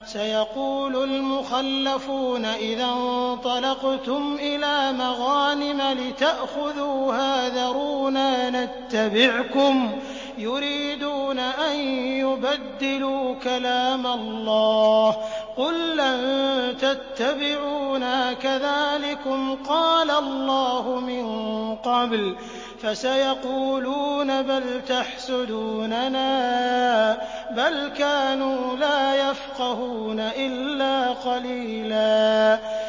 سَيَقُولُ الْمُخَلَّفُونَ إِذَا انطَلَقْتُمْ إِلَىٰ مَغَانِمَ لِتَأْخُذُوهَا ذَرُونَا نَتَّبِعْكُمْ ۖ يُرِيدُونَ أَن يُبَدِّلُوا كَلَامَ اللَّهِ ۚ قُل لَّن تَتَّبِعُونَا كَذَٰلِكُمْ قَالَ اللَّهُ مِن قَبْلُ ۖ فَسَيَقُولُونَ بَلْ تَحْسُدُونَنَا ۚ بَلْ كَانُوا لَا يَفْقَهُونَ إِلَّا قَلِيلًا